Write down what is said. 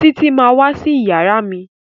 Títí má wá sí iyàrá mí.